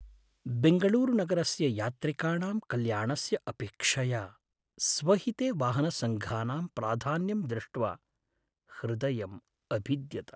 बेङ्गळूरुनगरस्य यात्रिकाणां कल्याणस्य अपेक्षया स्वहिते वाहनसङ्घानां प्राधान्यं दृष्ट्वा ह्दयम् अभिद्यत।